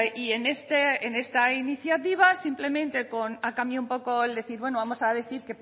y en esta iniciativa ha cambiado un poco el decir bueno vamos a decir